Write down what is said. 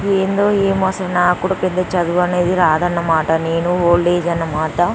ఏంటో ఏదో నాకు కూడా చదువు అన్నది పెద్దగా రాదు అన్నమాట నేను ఓల్డ్ ఏజ్ అన్నమాట.